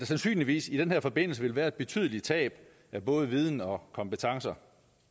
sandsynligvis i den her forbindelse vil være et betydeligt tab af både viden og kompetencer